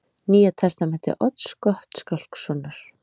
Nýja Testamenti Odds Gottskálkssonar